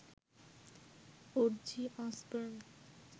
Aussie Osborne